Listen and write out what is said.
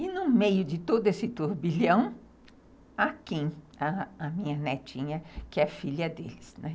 E, no meio de todo esse turbilhão, a Kim, a minha netinha, que é filha deles, né.